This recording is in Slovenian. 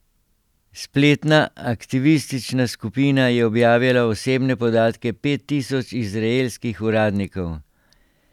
Spletna aktivistična skupina je objavila osebne podatke pet tisoč izraelskih uradnikov.